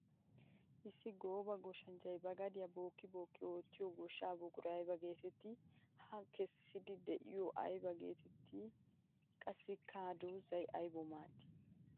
Issi gooba goshshanchchay ba gadiya bookki bookki ootiya goshsha buquray aybba geetetti? Ha kessidde de'iyo aybba geetetti, qassikka ha doozay aybbawu maaddi?